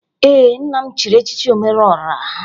Ee, nna m chiri echichi omereọra